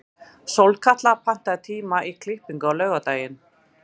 Sólkatla, pantaðu tíma í klippingu á laugardaginn.